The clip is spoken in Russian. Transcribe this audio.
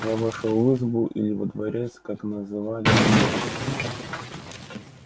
я вошёл в избу или во дворец как называли её мужики